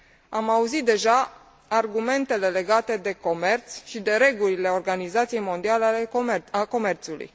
Am auzit deja argumentele legate de comerț și de regulile Organizației Mondiale a Comerțului.